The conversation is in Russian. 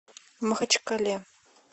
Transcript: махачкале